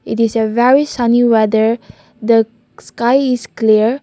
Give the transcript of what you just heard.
it is a very sunny weather the sky is clear.